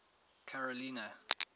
carolina